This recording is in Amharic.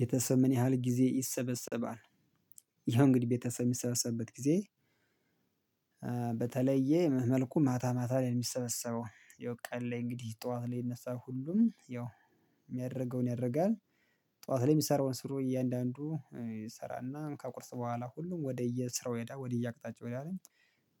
ቤተሰብ ምን ያህል ጊዜ ይሰበሰባል? ይኸው እንግዲህ ቤተሰብ የሚሰበሰብበት ጊዜ በተለየ መልኩ ማታ ማታ ላይ የሚሰበሰበው ያው ቀን ላይ እንግዲህ ጠዋት ላይ የሚነሳው ሁሉም ያው የሚያደርገውን ያደርጋል ጠዋት ላይ የሚሰራውን ስሩ እያንዳንዱ ይሰራና ከቁርስ በኋላ ሁሉም ወደየ ስራው ይሄዳል ወደየአቅጣቸው ይሄዳል